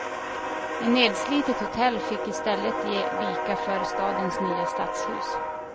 Ett nedslitet hotell fick i stället ge vika för stadens nya stadshus.